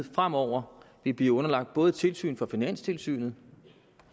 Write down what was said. fremover vil blive underlagt både et tilsyn fra finanstilsynet